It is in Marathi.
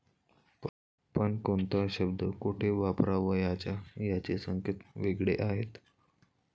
पण कोणता शब्द कोठे वापरावयाचा याचे संकेत वेगळे आहेत.